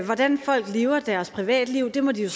hvordan folk lever i deres privatliv må de jo